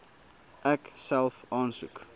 ek self aansoek